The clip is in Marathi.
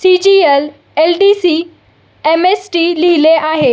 C G L L D C M S T लिहले आहे.